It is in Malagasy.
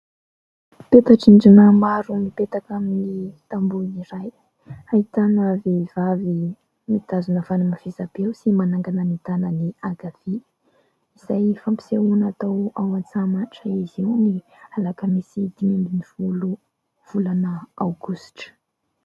Peta-drindrina maro mipetaka amin'ny tamboho iray, ahitana vehivavy mitazona fanamafisam-peo sy manangana ny tanany ankavia; izay fampisehoana atao ao Antsahamanitra izy io ny alakamisy dimy ambin'ny folo volana aogositra.